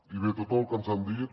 i bé tot el que ens han dit